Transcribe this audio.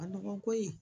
A nɔgɔ koyi